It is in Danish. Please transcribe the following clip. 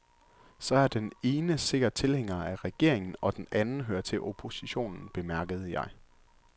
Så er den ene sikkert tilhænger af regeringen, og den anden hører til oppositionen, bemærkede jeg.